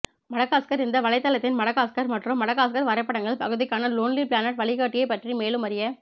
Madagascar இந்த வலைத்தளத்தின் Madagascar மற்றும் மடகாஸ்கர் வரைபடங்கள் பகுதிக்கான லோன்லி பிளானட் வழிகாட்டியைப் பற்றி மேலும் அறிய